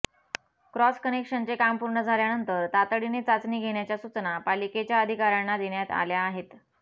cross कनेक्शनचे काम पूर्ण झाल्यानंतर तातडीने चाचणी घेण्याच्या सूचना पालिकेच्या अधिकाऱ्यांना देण्यात आल्या आहेत